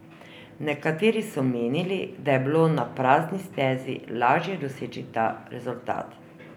Nekateri so menili, da je bilo na prazni stezi lažje doseči ta rezultat.